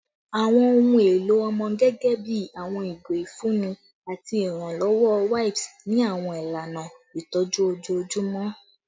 Awọn ohun elo ọmọ gẹgẹbi awọn igo ifunni ati iranlọwọ wipes ni awọn ilana itọju ojoojumọ